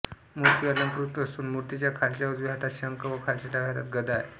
मूर्ती अलंकृत असून मूर्तीच्या खालच्या उजव्या हातात शंख व खालच्या डाव्या हातात गदा आहे